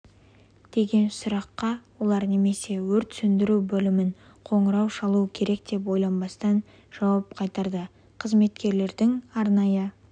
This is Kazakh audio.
деген сұраққа олар немесе өрт сөндіру бөліміне қоңырау шалу керек деп ойланбастан жауап қайтарды қызметкерлердің арнайы